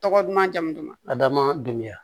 Tɔgɔ duman jamu dama adamadenya